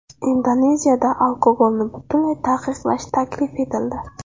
Indoneziyada alkogolni butunlay taqiqlash taklif etildi.